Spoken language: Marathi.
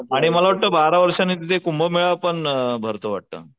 आणि मला वाटत बारा वर्षांनी तिथे कुंभमेळा पण भरतो वाटत.